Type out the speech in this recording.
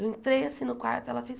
Eu entrei assim no quarto, ela fez,